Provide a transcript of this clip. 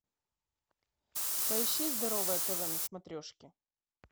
поищи здоровое тв на смотрешке